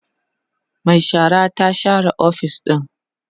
Mai shara ta share ofis ɗin